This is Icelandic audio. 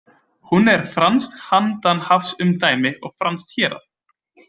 Hún er franskt handanhafsumdæmi og franskt hérað.